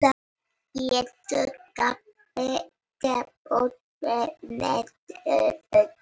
Hér má glöggt sjá hversu mikið Ok hefur minnkað á rúmlega öld.